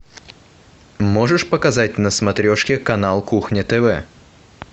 можешь показать на смотрешке канал кухня тв